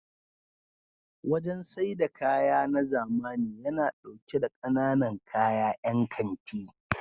Wajen saida kaya na zamani yana ɗauke da ƙananan kaya 'yan kanti.